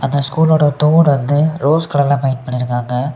இத ஸ்கூலோட தூண் வந்து ரோஸ் கலர்ல பெயிண்ட் பன்னிருக்காங்க.